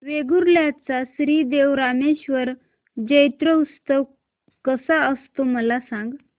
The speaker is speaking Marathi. वेंगुर्ल्या चा श्री देव रामेश्वर जत्रौत्सव कसा असतो मला सांग